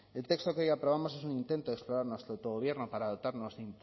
el texto que hoy aprobamos es un intento de explorar nuestro autogobierno para dotarnos de